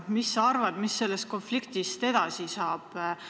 Mis sa arvad, mis sellest konfliktist edasi saab?